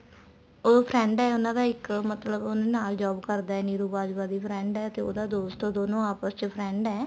ਉਹ friend ਹੈ ਉਹਨਾ ਦਾ ਇੱਕ ਮਤਲਬ ਉਹਨਾ ਨਾਲ job ਕਰਦਾ ਏ ਨਿਰੂ ਬਾਜਵਾ ਉਹਦੀ friend ਏ ਤੇ ਉਹਦਾ ਦੋਸਤ ਹੈ ਉਹ ਦੋਨੋ ਆਪਸ ਚ friend ਏ